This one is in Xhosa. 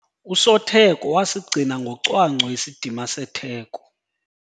Usotheko wasigcina ngocwangco isidima setheko.